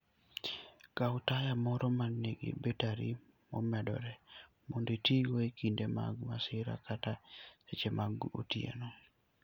Kaw taya moro ma nigi bateri momedore mondo itigo e kinde mag masira kata e seche mag otieno.